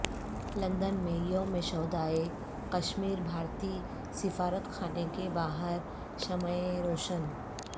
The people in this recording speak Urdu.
لندن میں یو م شہدائے کشمیر بھارتی سفارتخانے کے باہر شمعیں روشن